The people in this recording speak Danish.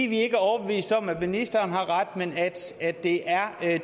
vi ikke er overbevist om at ministeren har ret men at det er